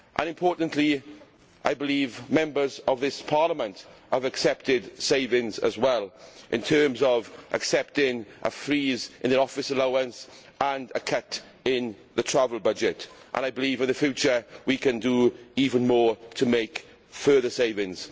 Importantly, Members of this Parliament have accepted savings as well, in terms of accepting a freeze in the office allowance and a cut in the travel budget. I believe in future we can do even more to make further savings.